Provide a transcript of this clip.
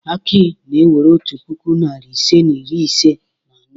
Aki na-ewere otu puku, narị ise na iri ise na anọ.